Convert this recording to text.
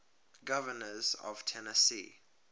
governors of tennessee